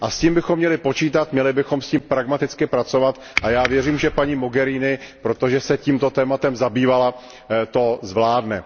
A s tím bychom měli počítat, měli bychom s tím pragmaticky pracovat a já věřím, že paní Mogheriniová, protože se tímto tématem zabývala, to zvládne.